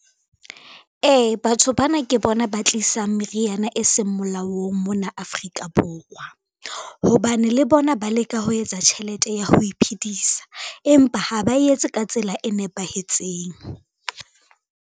Ee, batho bana ke bona ba tlisang meriana e seng molaong mona Afrika Borwa, hobane le bona ba leka ho etsa tjhelete ya ho iphedisa, empa ha ba etse ka tsela e nepahetseng.